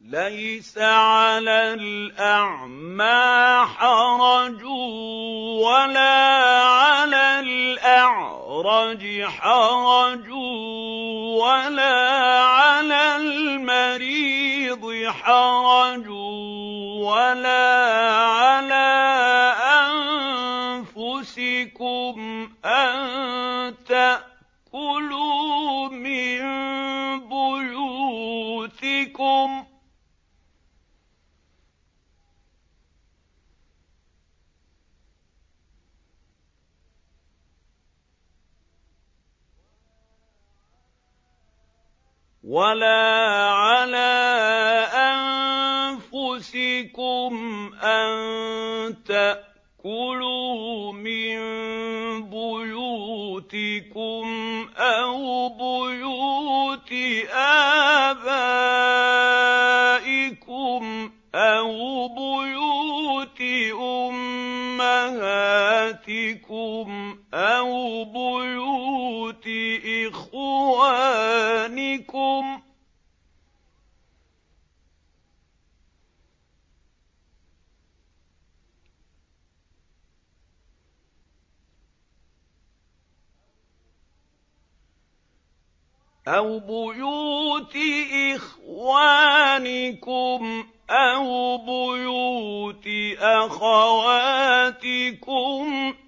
لَّيْسَ عَلَى الْأَعْمَىٰ حَرَجٌ وَلَا عَلَى الْأَعْرَجِ حَرَجٌ وَلَا عَلَى الْمَرِيضِ حَرَجٌ وَلَا عَلَىٰ أَنفُسِكُمْ أَن تَأْكُلُوا مِن بُيُوتِكُمْ أَوْ بُيُوتِ آبَائِكُمْ أَوْ بُيُوتِ أُمَّهَاتِكُمْ أَوْ بُيُوتِ إِخْوَانِكُمْ أَوْ بُيُوتِ أَخَوَاتِكُمْ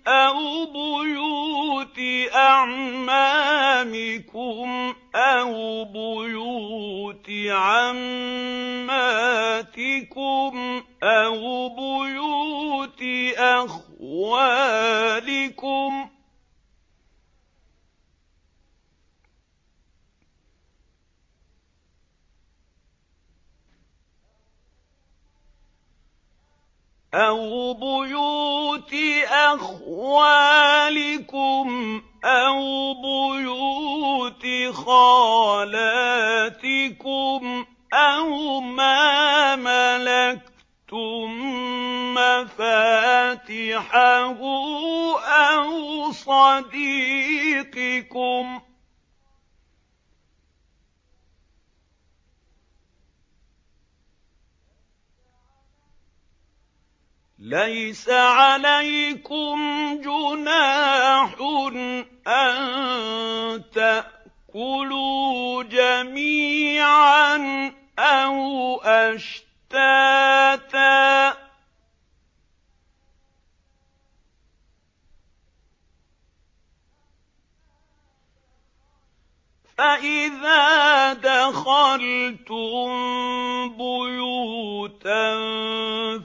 أَوْ بُيُوتِ أَعْمَامِكُمْ أَوْ بُيُوتِ عَمَّاتِكُمْ أَوْ بُيُوتِ أَخْوَالِكُمْ أَوْ بُيُوتِ خَالَاتِكُمْ أَوْ مَا مَلَكْتُم مَّفَاتِحَهُ أَوْ صَدِيقِكُمْ ۚ لَيْسَ عَلَيْكُمْ جُنَاحٌ أَن تَأْكُلُوا جَمِيعًا أَوْ أَشْتَاتًا ۚ فَإِذَا دَخَلْتُم بُيُوتًا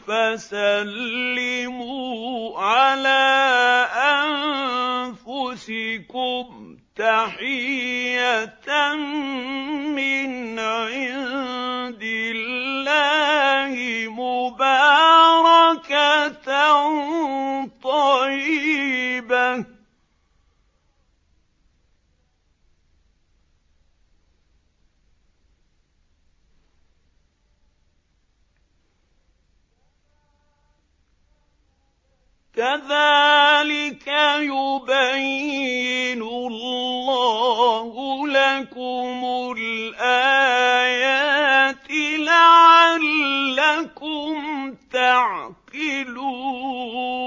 فَسَلِّمُوا عَلَىٰ أَنفُسِكُمْ تَحِيَّةً مِّنْ عِندِ اللَّهِ مُبَارَكَةً طَيِّبَةً ۚ كَذَٰلِكَ يُبَيِّنُ اللَّهُ لَكُمُ الْآيَاتِ لَعَلَّكُمْ تَعْقِلُونَ